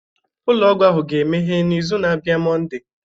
Ụlọ ọgwụ ahụ ga-emeghe n'izu na-abịa Monday